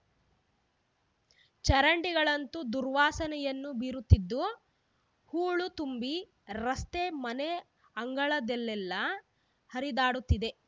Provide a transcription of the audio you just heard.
ಚರಂಡಿಗಳಂತೂ ದುರ್ವಾಸನೆಯನ್ನು ಬೀರುತ್ತಿದ್ದು ಹೂಳು ತುಂಬಿ ರಸ್ತೆ ಮನೆ ಅಂಗಳದೆಲ್ಲಾಲ್ಲಾ ಹರಿದಾಡುತ್ತಿದೆ